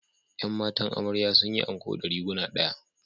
’Yan matan amarya sun yi anko ɗariguna ɗaya